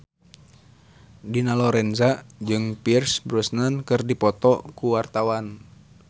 Dina Lorenza jeung Pierce Brosnan keur dipoto ku wartawan